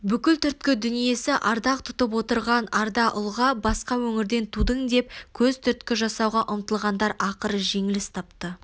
бүкіл түркі дүниесі ардақ тұтып отырған арда ұлға басқа өңірде тудың деп көзтүрткі жасауға ұмтылғандар ақыры жеңіліс тапты